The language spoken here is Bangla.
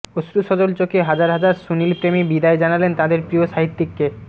অশ্রুসজল চোখে হাজার হাজার সুনীলপ্রেমী বিদায় জানালেন তাদের প্রিয় সাহিত্যিককে